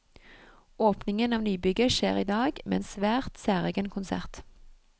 Åpningen av nybygget skjer i dag, med en svært særegen konsert.